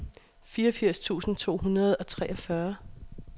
fireogfirs tusind to hundrede og treogfyrre